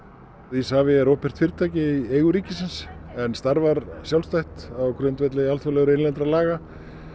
Isavia er opinbert fyrirtæki í eigu ríkisins en starfar sjálfstætt á grundvelli alþjóðlegra og innlendra laga